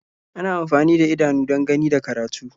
Ana amfani da idanu don gani da karatu.